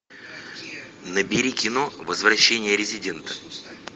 набери кино возвращение резидента